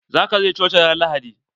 Zaka je coci ran lahadi?